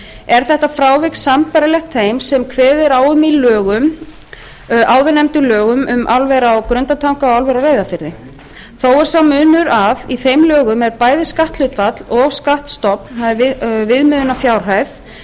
er þetta frávik sambærilegt þeim sem kveðið er á um í áðurnefndum lögum um álverið á grundartanga og álverið á reyðarfirði þó er sá munur að í þeim lögum eru bæði skatthlutfall og skattstofn